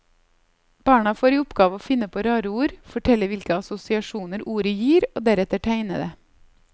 Barna får i oppgave å finne på rare ord, fortelle hvilke assosiasjoner ordet gir og deretter tegne det.